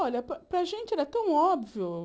Olha, para para a gente era tão óbvio.